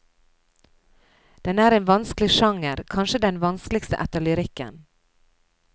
Den er en vanskelig sjanger, kanskje den vanskeligste etter lyrikken.